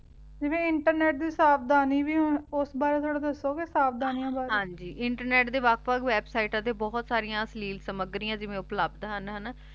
ਜਿਵੇਂ internet ਦੀ ਸਾਵਧਾਨੀ ਵੀ ਓਸ ਬਾਰੇ ਥੋਰਾ ਦਸੋ ਗੇ ਸਾਵਧਾਨਿਯਾਂ ਬਾਰੇ ਹਾਂਜੀ ਇੰਟਰਨੇਟ ਦੇ ਵਖ ਵਖ ਵੇਬ੍ਸਿਤਾਂ ਤੇ ਬੋਹਤ ਸਰਿਯਾਂ ਸਾਲੇ ਸਾਮਗ੍ਰਿਯਾਂ ਜਿਵੇਂ ਉਪਲਬਦ ਹਨ ਹਾਨਾ